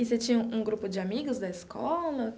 E você tinha um grupo de amigos da escola?